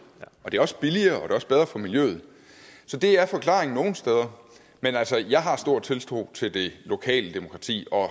og det er også billigere er også bedre for miljøet så det er forklaringen nogle steder men altså jeg har stor tiltro til det lokale demokrati og